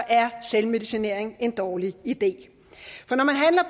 er selvmedicinering en dårlig idé